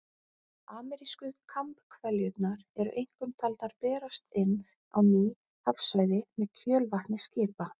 Amerísku kambhveljurnar eru einkum taldar berast inn á ný hafsvæði með kjölvatni skipa.